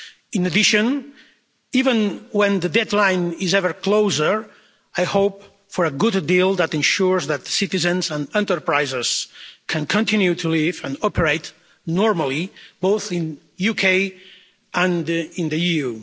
In addition, even when the deadline is ever closer, I hope for a good deal that ensures that citizens and enterprises can continue to live and operate normally both in the UK and in the EU.